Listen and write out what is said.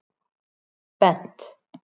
Bent